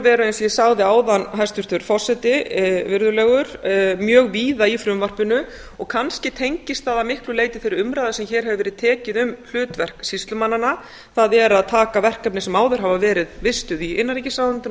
og ég sagði áðan hæstvirtur forseti mjög víða í frumvarpinu og kannski tengist það að miklu leyti þeirri umræðu sem hér hefur verið tekin um verkefni sýslumannanna það er að taka verkefni sem áður hafa verið vistuð í innanríkisráðuneytinu og